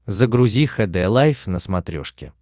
загрузи хд лайф на смотрешке